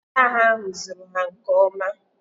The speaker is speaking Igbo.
Ọchịagha ahụ zụrụ ha nke ọma